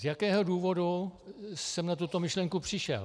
Z jakého důvodu jsem na tuto myšlenku přišel?